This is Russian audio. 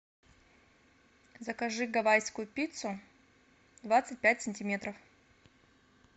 закажи гавайскую пиццу двадцать пять сантиметров